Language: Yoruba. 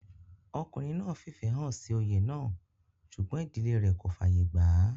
ọkùnrin náà fìfẹ́ hàn sí oyè náà sùgbọ́n ìdílé rẹ̀ kò fàyè gbà á